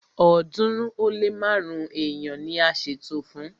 ọ̀ọ́dúnrún ó lé márùn-ún èèyàn ni a ṣètò fún